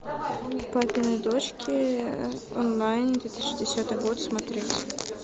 папины дочки онлайн две тысячи десятый год смотреть